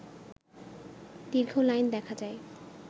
দীর্ঘ লাইন দেখা যায়